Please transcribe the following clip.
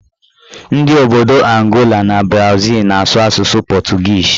Ndị obodo Angola na Brazịl na-asụ asụsụ pọtụgiizi